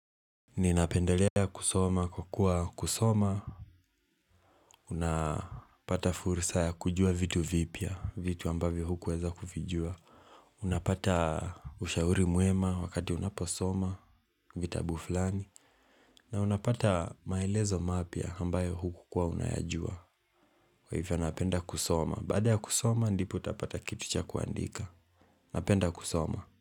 Ninapendelea kusoma kwa kuwa kusoma, unapata fursa ya kujua vitu vipya, vitu ambavyo hukuweza kuvijua, unapata ushauri mwema wakati unaposoma, vitabu fulani, na unapata maelezo mapya ambayo hukukuwa unayajua. Kwa hivyo napenda kusoma, baada ya kusoma ndipo utapata kitu cha kuandika. Napenda kusoma.